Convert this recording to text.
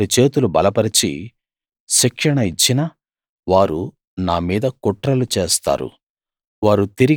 నేను వారి చేతులు బలపరచి శిక్షణ ఇచ్చినా వారు నా మీద కుట్రలు చేస్తారు